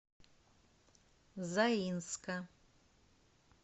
заинска